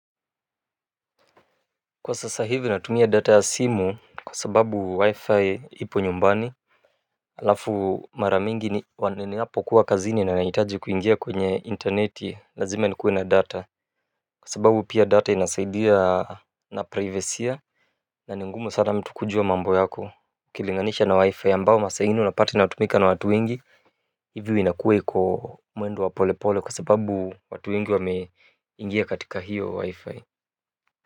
Kwa sasa hivi natumia data ya simu kwa sababu WiFi iko nyumbani alafu mara nyingi ninapokuwa kazini nahitaji kuingia kwenye intaneti lazima nikuwe na data kwasababu data inasaidia praivesi na ni ngumu mtu kujua mambo yako ukilinganisha na wi-fi ambao masaa nyingi unapata inatumika na watu wengi hivyo inakuwa kwa mwendo wa pole pole kwa sababu watu wengi wameingia katika hiyo wi-fi. Kwa hivyo.